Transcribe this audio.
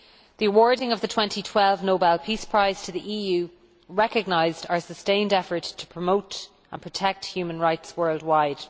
The awarding of the 2012 Nobel Peace Prize to the EU recognised our sustained effort to promote and protect human rights worldwide.